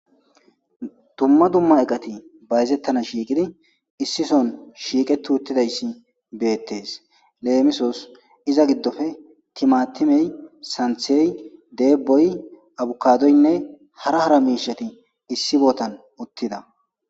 dumma dumma eqati bayzettana shiiqidi issison shiiqe tu uttidayssi beettes leemisos iza giddofe timatimey santhey deeboy abukadoynne hara hara miishati issi bootan uttida